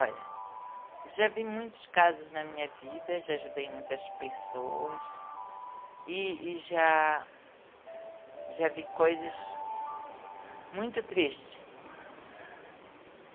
Olha, já vi muitos casos na minha vida, já ajudei muitas pessoas e, e já, já vi coisas muito triste.